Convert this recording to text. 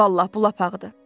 Vallah, bu lap ağırdır.